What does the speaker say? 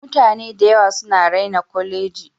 Mutane dayawa suna raina koleji.